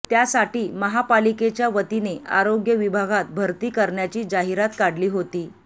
त्यासाठी महापालिकेच्या वतीने आरोग्य विभागात भरती करण्याची जाहिरात काढली होती